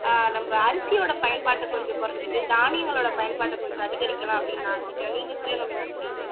நம்ம அரிசியோட பயன்பாட்டை கொஞ்சம் குறைச்சுட்டு தானியங்களோட பயன்பாட்டை கொஞ்சம் அதிகரிக்கலாம் அப்படீன்னு நான் நினைக்கிறேன் நீங்க சொல்லுங்க மீனாட்சி